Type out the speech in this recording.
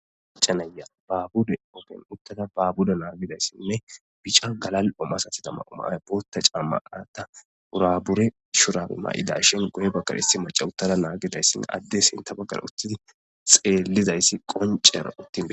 Acanaya baabuda ogen uttada baabuda naagidayssinne bica galal omasatida ma umaaya boota caammanata urabure shurabi ma7ida shin goy bakaressi maca uttada naagidayssin adde sinta baggan uttidi xeellizayssi qoncera uttinde.